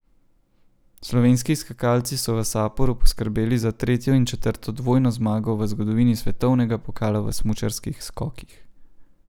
Slovenski skakalci so v Saporu poskrbeli za tretjo in četrto dvojno zmago v zgodovini svetovnega pokala v smučarskih skokih.